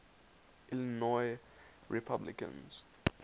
illinois republicans